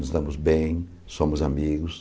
Nós estamos bem, somos amigos.